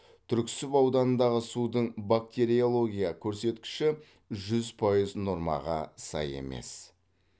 түрксіб ауданындағы судың бактериология көрсеткіші жүз пайыз нормаға сай емес